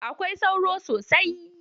Akwai sauro sosai.